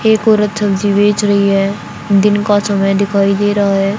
एक औरत सब्जी बेच रही है दिन का समय दिखाई दे रहा है।